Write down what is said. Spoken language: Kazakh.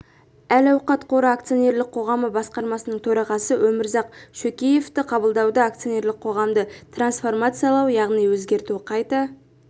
әл-ауқат қоры акционерлік қоғамы басқармасының төрағасы өмірзақ шөкеевті қабылдауда акционерлік қоғамды трансформациялау яғни өзгерту қайта